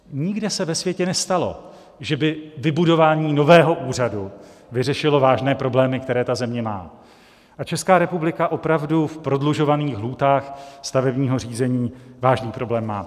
Nikde se ve světě nestalo, že by vybudování nového úřadu vyřešilo vážné problémy, které ta země má, a Česká republika opravdu v prodlužovaných lhůtách stavebního řízení vážný problém má.